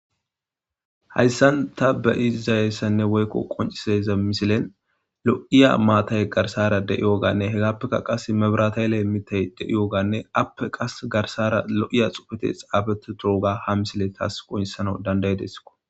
Hayssan ta be izizayeyssanne woykko qonciseza misilen lo'iya maatay garsara de'iyooganne hegappeka qas mebirataylee mitay de'iyooganne appe qas garsara lo'iya xufete xaabete durooga ha misile taas qonisana dandayedesskko